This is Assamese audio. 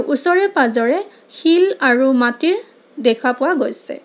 ওচৰে পাজৰে শিল আৰু মাটিৰ দেখা পোৱা গৈছে।